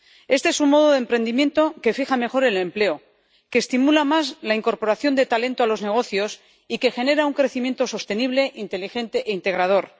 Este es un modo de emprendimiento que fija mejor el empleo, que estimula más la incorporación de talento a los negocios y que genera un crecimiento sostenible, inteligente e integrador